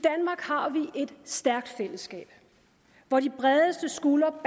i et stærkt fællesskab hvor de bredeste skuldre